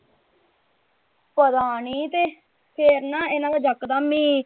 ਪਤਾ ਨਹੀਂ ਤੇ ਫੇਰ ਨਾ ਇਹਨਾਂ ਦਾ ਜਕਦਮ ਹੀ।